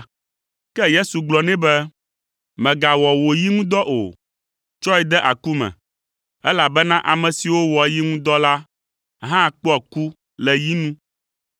Ke Yesu gblɔ nɛ be, “Mègawɔ wò yi ŋu dɔ o; tsɔe de aku me, elabena ame siwo wɔa yi ŋu dɔ la hã kpɔa ku le yi nu.